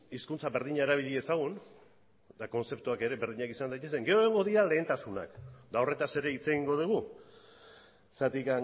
hizkuntza berdina erabili dezagun eta kontzeptuak ere berdinak izan daitezen gero egongo dira lehentasunak eta horretaz ere hitz egingo dugu zergatik